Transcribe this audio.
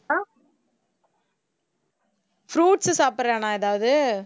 ஆஹ் fruits சாப்பிடுறானா ஏதாவது